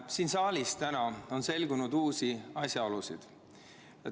Siin saalis on täna selgunud uusi asjaolusid.